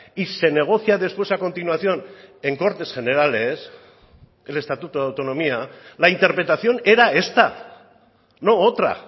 y se negocia después a continuación en cortes generales el estatuto de autonomía la interpretación era esta no otra